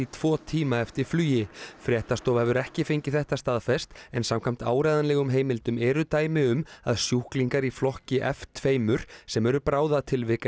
tvo tíma eftir flugi fréttastofa hefur ekki fengið þetta staðfest en samkvæmt áreiðanlegum heimildum eru dæmi um að sjúklingar í flokki f tveimur sem eru bráðatilvik